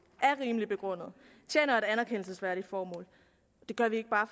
er rimeligt begrundet tjener et anerkendelsesværdigt formål gør vi ikke bare